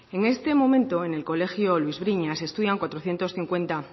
en este momento en el colegio luis briñas estudian cuatrocientos cincuenta